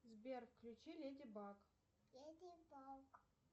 сбер включи леди баг